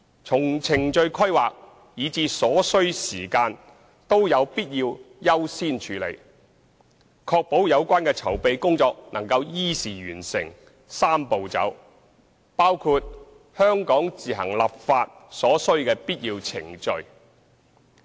從程序規劃，以至所需時間均有必要優先處理，確保有關籌備工作能依時完成"三步走"，包括香港自行立法所需的必要程序。